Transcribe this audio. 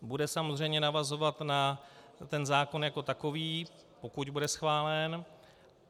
Bude samozřejmě navazovat na ten zákon jako takový, pokud bude schválen.